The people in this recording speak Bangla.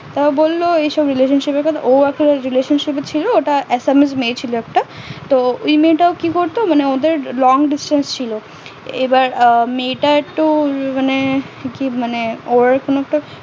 ও বললো ওই সব relationship সেলাসেন ও একটা relationship এ ছিল ওটা মেয়ে ছিল একটা ওই মুহূর্তে ও কি করতো মানে ওদের Long distance ছিল এবার মেয়ে টা একটু মানে কি মানে ও কোনো একটা